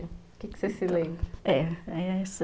O que você se lembra? é,